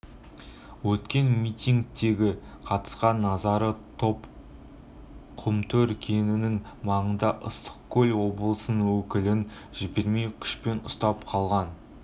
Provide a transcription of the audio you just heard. өткен митингіге қатысқан наразы топ құмтөр кенішінің маңында ыстықкөл облысының өкілін жібермей күшпен ұстап қалған